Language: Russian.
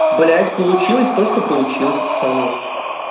блять получилось то что получилось пацаны